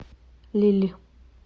лилль